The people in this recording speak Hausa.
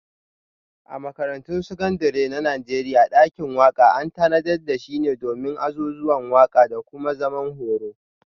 A Makarantun Sakandare na Najeriya, dakin waka an tanadar da shi domin azuzuwan waka da kuma zaman horo.